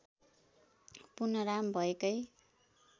पुनः राम भएकै